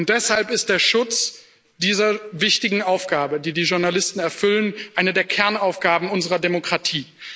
Deshalb ist der Schutz dieser wichtigen Aufgabe, die die Journalisten erfüllen, eine der Kernaufgaben unserer Demokratie.